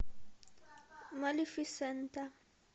малефисента